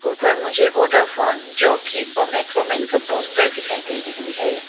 ऊपर मुझे Vodafone Jockey और मैक्रोमैन का पोस्टर दिखाई दे रही है।